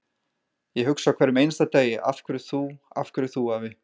Ég hugsa á hverjum einasta degi: Af hverju þú, af hverju þú afi?